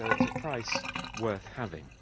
So it's a price worth having.